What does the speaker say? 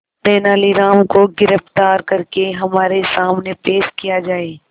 तेनालीराम को गिरफ्तार करके हमारे सामने पेश किया जाए